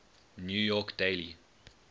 new york daily